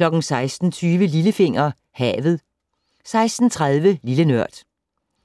16:20: Lillefinger - Havet 16:30: Lille Nørd